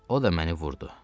O da məni vurdu.